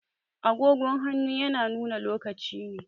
Agogon hannu yana nuna lokaci ne